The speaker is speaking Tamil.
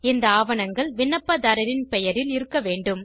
இந்த ஆவணங்கள் விண்ணப்பதாரரின் பெயரில் இருக்க வேண்டும்